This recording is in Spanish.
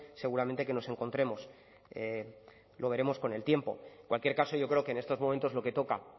seguramente que nos encontremos lo veremos con el tiempo en cualquier caso yo creo que en estos momentos lo que toca